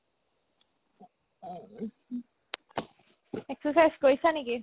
exercise কৰিছা নেকি ?